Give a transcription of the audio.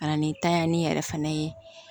Ka na ni tanyani yɛrɛ fana ye